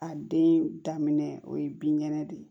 A den daminɛ o ye binkɛnɛ de ye